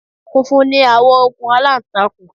Funfun ni àwọ̀ okùn aláǹtakùn